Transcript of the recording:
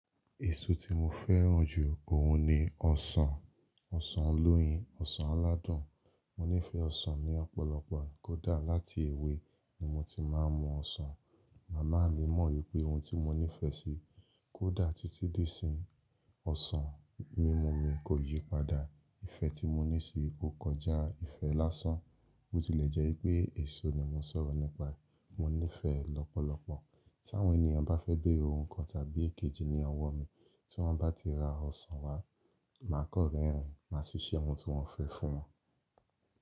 Èso tí mo fẹ́ràn jù òun ni ọsàn, ọsàn olóyin, ọsàn aládùn. Mo nífẹ̀ẹ́ ọsàn ní ọ̀pọ̀lọpọ̀, kódà láti èwe ni mo ti máa ń mú ọsàn. Mama mi mọ̀ wípé ohun tí mo nífẹ̀ẹ́ sí. Kódà títí di ìsin ọsàn mímu mi kò yí padà. Ìfẹ́ tí mo ní sí i kò kọjá. Ìfẹ́ lásán. Bó tilẹ̀ jẹ́ pé èso ni mo sọ̀rọ̀ nípa, mo nífẹ̀ẹ́ ẹ lọ́pọ̀lọpọ̀. Tí àwọn ènìyàn bá fẹ́ béèrè ohun kan tàbí èkejì ní ọwọ́ mi, tí wọ́n bá ti ra ọsàn wá, màá kọ́ rẹ́ rìn, màá ṣiṣẹ́ ohun tí wọ́n fẹ́ fún wọn.